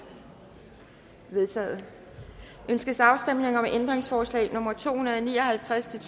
vedtaget ønskes afstemning om ændringsforslag nummer to hundrede og ni og halvtreds til